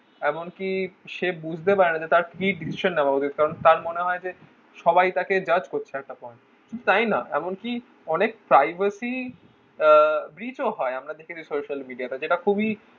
এমন কি সে বুঝতে পারে না তার feed ভীষণ . কারণ তার মনে হয় যে সবাই তাকে judge করছে একটা point তাইনা এমনকি অনেক privacy bridge ও হয় আমরা দেখেছি social media তে যেটা খুবই